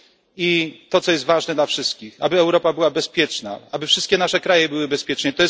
I to, co jest ważne dla wszystkich aby Europa była bezpieczna, aby wszystkie nasze kraje były bezpieczne.